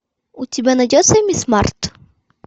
у тебя найдется мисс март